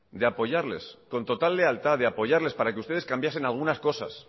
de apoyarles con total lealtad de apoyarles para que ustedes cambiasen algunas cosas